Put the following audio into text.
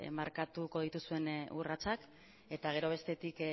markatuko dituzuen urratsak eta gero bestetik